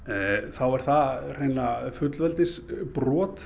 þá er það hreinlega